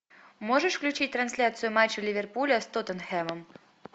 можешь включить трансляцию матча ливерпуля с тоттенхэмом